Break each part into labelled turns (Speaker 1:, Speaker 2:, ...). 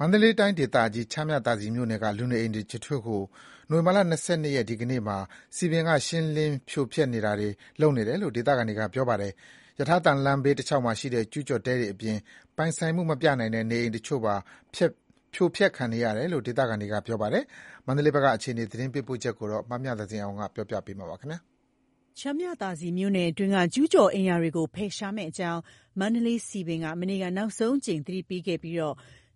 Speaker 1: မန္တလေးတိုင်းဒေသကြီး ချမ်းမြသာစည်မြို့နယ်က လူနေအိမ်တချို့ကို နိုဝင်ဘာလ ၂၂ ရက်၊ ဒီကနေ့မှာ စည်ပင်က ရှင်းလင်းဖြိုဖျက်နေတာတွေလုပ်နေတယ်လို့ ဒေသခံတွေက ပြောပါတယ်။ ရထားသံလမ်း ဘေးတလျှောက်မှာရှိတဲ့ ကျူးကျော်တဲတွေအပြင် ပိုင်ဆိုင်မှုမပြနိုင်တဲ့ နေအိမ်တချို့ပါ ဖြိုဖျက်ခံရတယ်လို့ ဒေသခံတွေက ပြောပါတယ်။ မန္တလေးဘက်က အခြေအနေ သတင်းပေးပို့ချက်ကို မမြသဇင်အောင်က တင်ပြပေးထားပါတယ်။
Speaker 2: ချမ်းမြသာစည်မြို့နယ်တွင်းက ကျူးကျော်အိမ်ယာတွေကိုဖယ်ရှားမယ့်အကြောင်း မန္တလေးစည်ပင်က မနေ့က နောက်ဆုံးအကြိမ်သတိပေးခဲ့ပြီး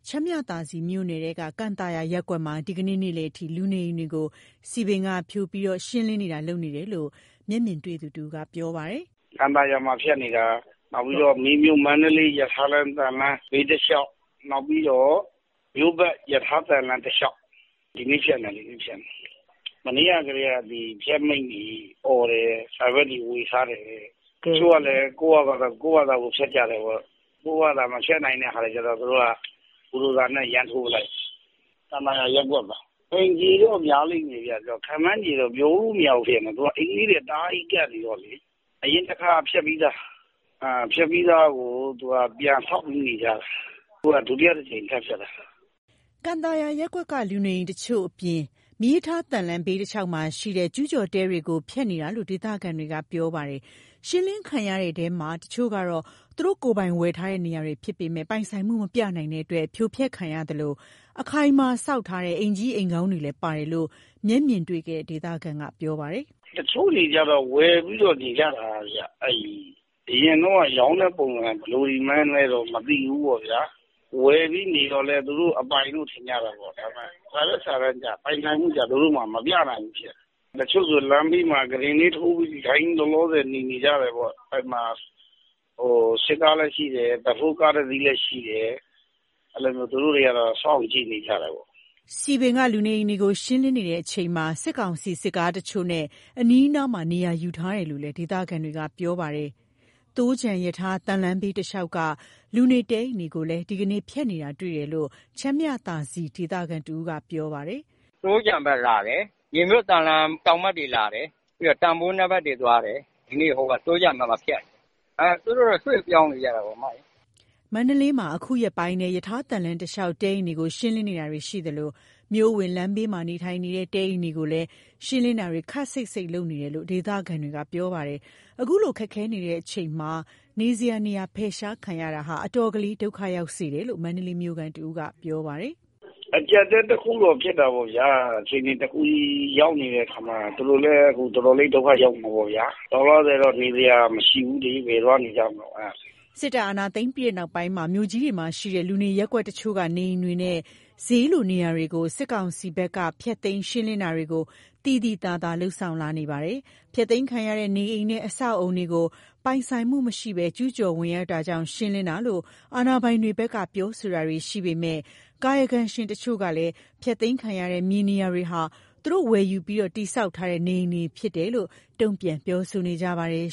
Speaker 2: ချမ်းမြသာစည်မြို့နယ်ထဲက ကန်သာယာရပ်ကွက်မှာ ဒီကနေ့ နေ့လယ်အထိ လူနေအိမ်တွေကို စည်ပင်က ဖြိုဖျက် ရှင်းလင်းနေတယ်လို့ မျက်မြင်တွေ့သူတဦးက ပြောပါတယ်
Speaker 1: ။ "ကန်သာယာမှာ ဖျက်နေတာ။ ပြီးတော့ မေမြို့-မန္တလေး ရထားလမ်းဘေးတလျှောက်။ နောက်ပြီးတော့ မြို့ပတ်ရထား သံလမ်းတလျှောက်မှာ ဒီနေ့ဖျက်နေတာ။ မနေ့ကတည်းက ဖျက်မိန့်တွေအော်တယ်။ စာရွက်တွေ ဝေထားတယ်တဲ့။ တချို့ကလည်း ကိုယ့်ဘာသာကိုယ် ဖျက်ကြတယ်ပေါ့။ ကိုယ့်ဟာကိုယ် မဖျက်နိုင်တာကျတော့ ဘူဒိုဇာနဲ့ ဒီတိုင်း ထိုးလိုက်တယ်။ ကန်သာယာရပ်ကွက်မှာ အိမ်ခြေတော့ များလိမ့်မယ်ဗျ။ ခန့်မှန်းခြေတော့ ပြောလို့မရဘူး ဖြစ်နေတယ်။ သူက အိမ်လေးတွေက တအားကြီး ကပ်နေတော့လေ။ အရင်တခါ ဖျက်ပြီးသားကို သူတို့က ပြန်ဆောက်ပြီး နေကြတာ။ အခုက ဒုတိယတကြိမ် ထပ်ဖျက်တာ။
Speaker 2: " ကန်သာယာရပ်ကွက်က လူနေအိမ်တချို့အပြင် မီးရထားသံလမ်းဘေးတလျှောက်မှာရှိတဲ့ ကျူးကျော်တဲတွေကို ဖျက်နေတာလို့ ဒေသခံတွေက ပြောပါတယ်။ ရှင်းလင်းခံရတဲ့အထဲမှာ တချို့က သူတို့ကိုယ်ပိုင်ဝယ်ထားတဲ့နေရာတွေ ဖြစ်ပေမဲ့ ပိုင်ဆိုင်မှုမပြနိုင်တဲ့အတွက် ဖြိုဖျက်ခံရသလို အခိုင်အမာဆောက်ထားတဲ့ အိမ်ကြီးအိမ်ကောင်းတွေလည်းပါတယ်လို့ မျက်မြင်တွေ့ခဲ့တဲ့ ဒေသခံက ပြောပါတယ်။
Speaker 1: "တချို့တွေကျတော့ ဝယ်ပြီးတော့ နေကြတာဗျ။ အရင်တုန်းက ရောင်းတဲ့ပုံစံ ဘယ်လိုတွေမှန်းလဲတော့ မသိဘူးပေါ့ဗျာ။ ဝယ်ပြီးနေတော့ သူတို့အပိုင်လို့ ထင်ကြတာပေါ့။ ဒါပေမဲ့ ပိုင်ဆိုင်မှု စာရွက်စာတမ်းကျ မပြနိုင်ဘူး ဖြစ်နေတယ်။ တချို့ဆို လမ်းဘေးမှာ ကုတင်လေးထိုးပြီး ထိုင်ပြီး လောလောဆယ် နေကြတယ်ပေါ့။ စစ်ကားလည်း ရှိတယ်။ ဘက်ဖိုးကား တစီးလည်းရှိတယ်။ သူတို့တွေကတော့ စောင့်ကြည့်နေကြတာပေါ့။
Speaker 2: " စည်ပင်က လူနေအိမ်တွေကိုရှင်းလင်းနေချိန်မှာ စစ်ကောင်စီ စစ်ကားတချို့နဲ့ အနီးနားမှာ နေရာယူထားတယ်လို့လည်း ဒေသခံတွေက ပြောပါတယ်။ သိုးခြံရထားသံလမ်းဘေးတလျှောက်က လူနေတဲအိမ်တွေကိုလည်း ဒီကနေ့ ဖျက်နေတာတွေ့ရတယ်လို့ ချမ်းမြသာစည်ဒေသခံတဦးက ပြောပါတယ်။
Speaker 1: "သိုးခြံဘက်လာတယ်။ မေမြို့ သံလမ်းတောင်ဘက်တွေ လာတယ်။ ပြီးတော့ တန်ဖိုးနည်းဘက်တွေ သွားတယ်။ ဒီနေ့ သိုးခြံဘက်မှာ ဖျက်နေတာ။ သူတို့တော့ ရွှေ့ပြောင်းနေကြတာပဲ"
Speaker 2: မန္တလေးမှာ အခုရက်ပိုင်းထဲ ရထားသံလမ်းတလျှောက်တဲအိမ်တွေကို ရှင်းလင်းနေသလို မြို့အဝင်လမ်းဘေးမှာ နေထိုင်နေတဲ့တဲအိမ်တွေကိုလည်း ရှင်းလင်းတာတွေ ခပ်စိပ်စိပ်လုပ်နေတယ်လို့ ဒေသခံတွေက ပြောပါတယ်။ အခုလို ခက်ခဲနေချိန်မှာ နေစရာနေရာ ဖယ်ရှားခံရတာက အတော်လေး ဒုက္ခရောက်စေတယ်လို့ မန္တလေးမြို့ခံတဦးက ပြောပါတယ်။
Speaker 1: "အကြပ်တည်းတခုတော့ ဖြစ်တာပေါ့ဗျာ။ အခြေအနေတခု ရောက်နေတဲ့အခါမှ သူတို့လည်း အခုတော်တော်လေး ဒုက္ခရောက်နေတာပေါ့ဗျာ။ လောလောဆယ်တော့ နေစရာမရှိဘူးလေ။ ဘယ်သွားနေကြမတုန်း။
Speaker 2: " စစ်တပ်အာဏာသိမ်းပြီးနောက်ပိုင်း မြို့ကြီးတွေမှာရှိတဲ့ လူနေရပ်ကွက်တချို့က နေအိမ်တွေနဲ့ ဈေးလိုနေရာတွေကို စစ်ကောင်စီဘက်က ဖျက်သိမ်းရှင်းလင်းတာတွေ သိသိသာသာ လုပ်ဆောင်လာနေပါတယ်။ ဖျက်သိမ်းခံရတဲ့ နေအိမ်နဲ့ အဆောက်အအုံတွေကို ပိုင်ဆိုင်မှုမရှိဘဲ ကျူးကျော်ဝင်ရောက်တာကြောင့် ရှင်းလင်းတာလို့ အာဏာပိုင်တွေဘက်က ပြောဆိုတာတွေရှိပေမဲ့ ကာကယံရှင်တချို့ကလည်း ဖျက်သိမ်းခံရတဲ့ မြေနေရာတွေဟာ သူတို့ဝယ်ယူပြီး တည်ဆောက်ထားတဲ့ နေအိမ်တွေဖြစ်တယ်လို့ တုံ့ပြန်ပြောဆိုနေကြပါတယ်